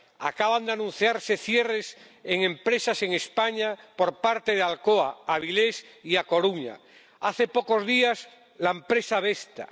Acaban de anunciarse cierres en empresas en España por parte de Alcoa —en Avilés y A Coruña— o, hace pocos días, el de la empresa Vestas.